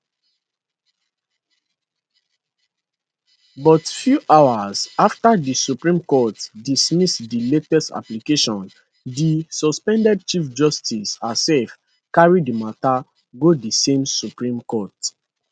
but few hours afta di supreme court dismiss di latest application di suspended chief justice herself carry di mata go di same supreme court